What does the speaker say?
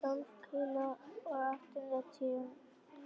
Tólf kíló og áttatíu sentimetrar.